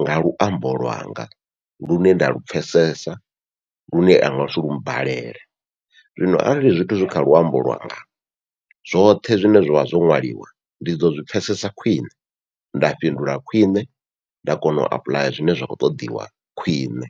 nga luambo lwanga lune nda lu pfhesesa lune lu ngasi mmbalele. Zwino arali zwithu zwi kha luambo lwanga zwoṱhe zwine zwavha zwo ṅwaliwa ndi ḓo zwi pfhesesa khwiṋe nda fhindula khwiṋe, nda kona u apuḽaya zwine zwa khou ṱoḓiwa khwiṋe.